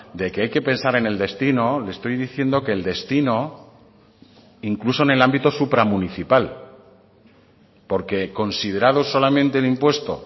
de que hay que pensar en el destino le estoy diciendo que el destino incluso en el ámbito supramunicipal porque considerados solamente el impuesto